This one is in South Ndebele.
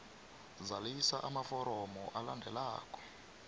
zalisa amaforomo alandelako